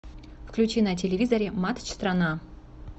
включи на телевизоре матч страна